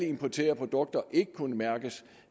importerede produkter kunne mærkes